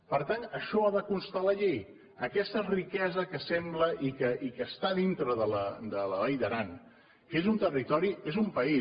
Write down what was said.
per tant això ha de constar a la llei aquesta riquesa que sembla i que està dintre de la vall d’aran que és un territori és un país